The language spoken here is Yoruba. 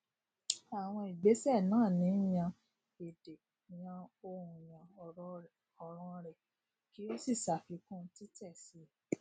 àwọn ìgbésè náà ni yan èdè yan ohùnyan òràn rẹ kí o sì sàfikún títè si